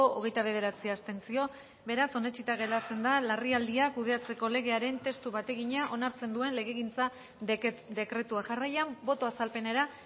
hogeita bederatzi abstentzio beraz onetsita geratzen da larrialdiak kudeatzeko legearen testu bategina onartzen duen legegintza dekretua jarraian boto azalpenera